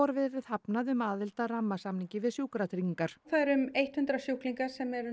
verið hafnað um aðild að rammasamningi við Sjúkratryggingar það eru um hundrað sjúklingar sem eru